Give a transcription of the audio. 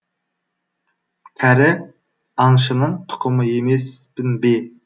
кәрі аңшының тұқымы емеспін бе